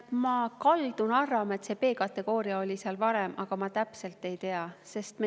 Ma kaldun arvama, et B-kategooria oli seal varem, aga ma täpselt ei tea.